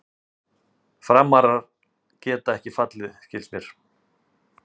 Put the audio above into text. Frammarar geta ekki fallið skilst mér.